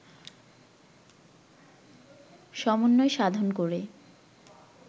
সমন্বয় সাধন করে